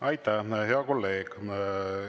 Aitäh, hea kolleeg!